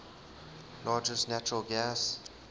largest natural gas